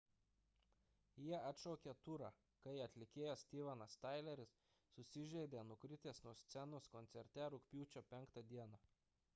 jie atšaukė turą kai atlikėjas stevenas tyleris susižeidė nukritęs nuo scenos koncerte rugpjūčio 5 d